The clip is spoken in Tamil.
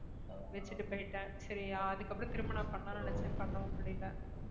வச்சிட்டு போயிட்டேன் சரி அதுக்கப்புறம் திரும்ப நான் பண்ணலாம்னு நினைச்சேன் பண்ணவும் முடியல